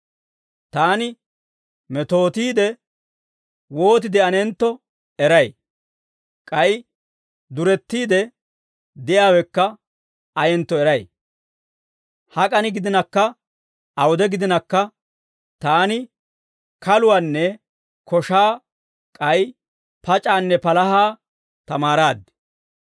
Taani metootiide wooti de'anentto eray; k'ay durettiide de'iyaawekka ayentto eray; hak'an gidinakka awude gidinakka, taani kaluwaanne koshshaa k'ay pac'aanne palahaa tamaaraad.